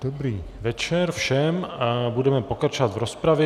Dobrý večer všem a budeme pokračovat v rozpravě.